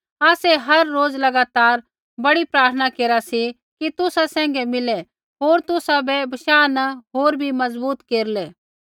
आसै हर रोज़ लगातार बड़ी प्रार्थना केरा सी कि तुसा सैंघै मिलै होर तुसाबै बशाह न होर बी मज़बूत केरलै